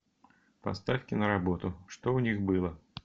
поставь киноработу что у них было